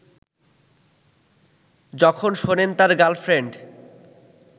যখন শোনেন তার গার্লফ্রেন্ড